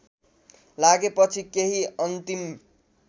लागेपछि केही अन्तिम